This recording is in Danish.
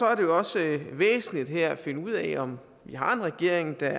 er det også væsentligt at finde ud af om vi har en regering der